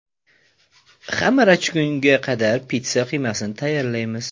Xamir achigunga qadar pitssa qiymasini tayyorlaymiz.